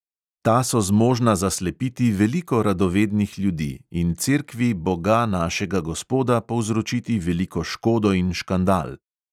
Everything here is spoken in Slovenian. Ta so zmožna zaslepiti veliko radovednih ljudi in cerkvi boga našega gospoda povzročiti veliko škodo in škandal.